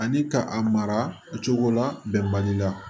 Ani ka a mara o cogo la bɛnbaliya